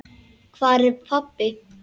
Hvar er pabbi?